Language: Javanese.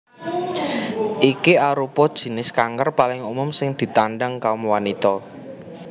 Iki arupa jinis kanker paling umum sing ditandhang kaum wanita